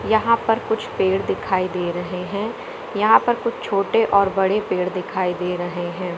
यहाँ पर कुछ पेड़ दिखाइ दे रहे है यहाँ पर कुछ छोटे और बड़े पेड़ दिखाइ दे रहे हैं।